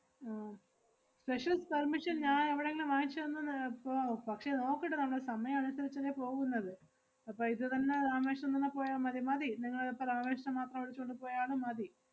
ആഹ് special permission ഞാ~ എവടെങ്കിലും വാങ്ങിച്ച് തന്നാ നി~ ഏർ പോവാവോ? പക്ഷേ നോക്കട്ട് നമ്മള് സമയം അനുസരിച്ചല്ലേ പോകുന്നത്. അപ്പ ഇതുതന്നെ രാമേശ്വരം തന്നെ പോയാ മതി, മതി നിങ്ങളിപ്പ രാമേശ്വരം മാത്രം വിളിച്ചോണ്ട് പോയാലും മതി.